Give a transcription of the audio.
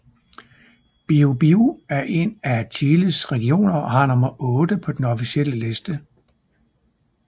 Biobío er en af Chiles regioner og har nummer VIII på den officielle liste